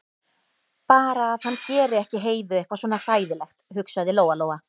Bara að hann geri ekki Heiðu eitthvað svona hræðilegt, hugsaði Lóa-Lóa.